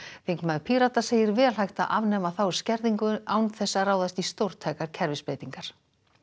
þingmaður Pírata segir vel hægt að afnema þá skerðingu án þess að ráðast í stórtækar kerfisbreytingar